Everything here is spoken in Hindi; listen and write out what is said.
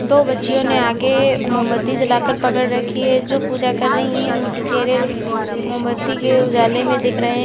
दो बच्चियों ने आगे मोमबत्ती जलाकर पकड़ रखी है जो पूजा कर रही है उनके चेहरे मोमबत्ती के उजाले में दिख रहे हैं।